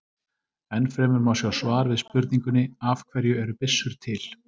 Enn fremur má sjá svar við spurningunni Af hverju eru byssur til?